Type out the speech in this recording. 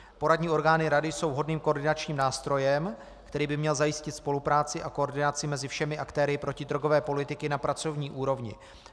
Poradní orgány rady jsou vhodným koordinačním nástrojem, který by měl zajistit spolupráci a koordinaci mezi všemi aktéry protidrogové politiky na pracovní úrovni.